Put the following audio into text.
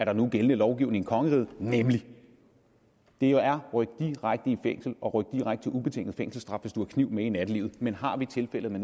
nu er gældende lovgivning i kongeriget det nemlig ryk direkte i fængsel og ryk direkte til ubetinget fængselsstraf hvis du har kniv med i nattelivet men har vi tilfældet med